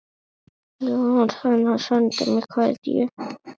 Jónatan að senda mér kveðju?